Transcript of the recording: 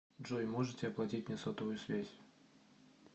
джой можете оплатить мне сотовую связь